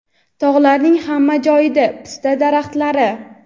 tog‘larning hamma joyida pista daraxtlari.